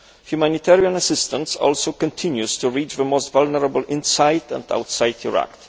Humanitarian assistance also continues to reach the most vulnerable inside and outside Iraq.